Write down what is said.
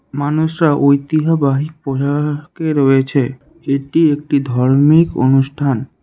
মানুষরা ঐতিহ্যবাহী পোশাকে রয়েছে এটি একটি ধর্মিক অনুষ্ঠান।